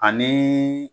Ani